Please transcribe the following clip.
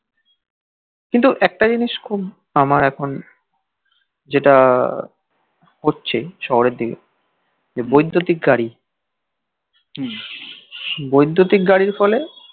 কিন্তু একটা জিনিস খুব আমার এখন যেটা হচ্ছে শহরের দিকে যে বৈদ্যতিক গাড়ি বৈদুতিক গাড়ির ফলে